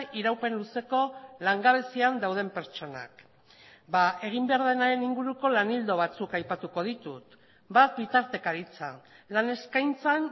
iraupen luzeko langabezian dauden pertsonak egin behar denaren inguruko lan ildo batzuk aipatuko ditut bat bitartekaritza lan eskaintzan